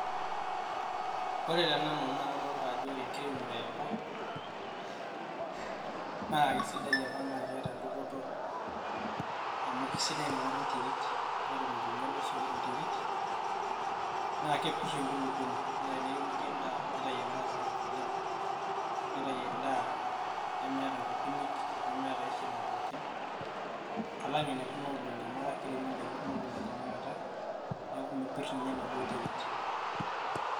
Ore tenanu naa kadaalta ajo ore enkiremore eopa naa kesidai apa naa keeta dupoto amu kesidai apa Inakata enterit neton eitu einyiala oso enterit naa kepirr enkulukoni naa teniremoki endaa neitayu endaa sapuk oleng' neitayu endaa nemeeta inkukunik nemeeta ae shida pookin alang' ena Kuna olong'i amu etaa keiremi endaki kumok tenakata neaku mepirr ninye enaduo terit.